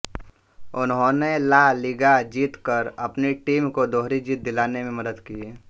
उन्होंने La Liga जीत कर अपनी टीम को दोहरी जीत दिलाने में मदद की